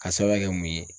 A sɛbɛn kɛ mun ye